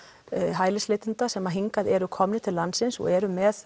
hælisleitenda sem hingað eru komnir til landsins og eru með